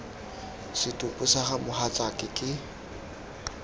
setopo sa ga mogatsaake ke